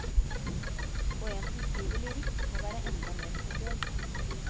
Og en som skriver lyrikk må være enda mer spesiell.